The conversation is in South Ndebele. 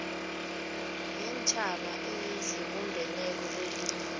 yeentjhaba ezibumbeneko kwelinye